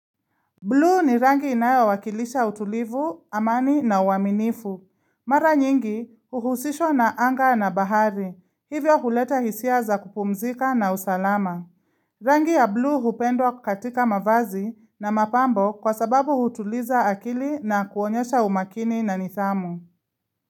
Blue ni rangi inayowakilisha utulivu, amani na uaminifu. Mara nyingi huhusishwa na anga na bahari. Hivyo huleta hisia za kupumzika na usalama. Rangi ya blue hupendwa katika mavazi na mapambo kwa sababu hutuliza akili na kuonyesha umakini na nidhamu.